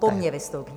Po mně vystoupí.